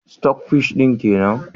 " stock fish " din kenan?